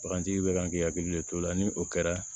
Bagantigi bɛ kan k'i hakili de t'o la ni o kɛra